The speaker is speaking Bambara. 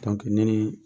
ne ni